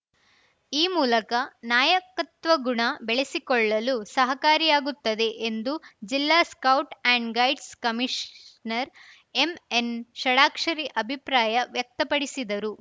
ಈ ಮೂಲಕ ನಾಯಕತ್ವ ಗುಣ ಬೆಳೆಸಿಕೊಳ್ಳಲು ಸಹಕಾರಿಯಾಗುತ್ತದೆ ಎಂದು ಜಿಲ್ಲಾ scout and guides commissioner MN Shadakshari ಅಭಿಪ್ರಾಯ ವ್ಯಕ್ತಪಡಿಸಿದರು